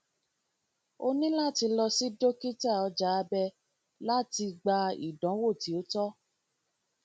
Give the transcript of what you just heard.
o nilo lati lọ si dokita ọja abẹ lati gba idanwo ti o tọ